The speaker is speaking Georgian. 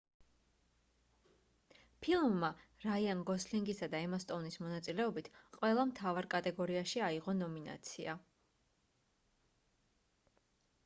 ფილმმა რაიან გოსლინგისა და ემა სტოუნის მონაწილეობით ყველა მთავარ კატეგორიაში აიღო ნომინაცია